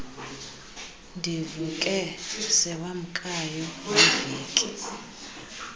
ndivuke sewamkayo yiveki